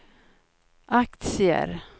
aktier